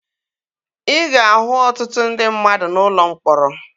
Ị ga-ahụ ọtụtụ ndị mmadụ n'ụlọ mkpọrọ